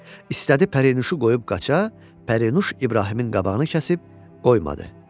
İstədi Pərinuşu qoyub qaça, Pərinuş İbrahimin qabağını kəsib qoymadı.